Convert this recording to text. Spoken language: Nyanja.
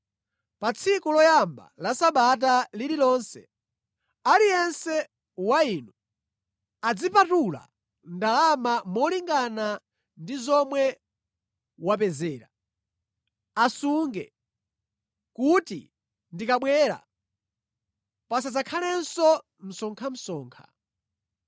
Pa tsiku loyamba la sabata lililonse, aliyense wa inu azipatula ndalama molingana ndi zomwe wapezera. Asunge, kuti ndikabwera pasadzakhalenso msonkhamsonkha.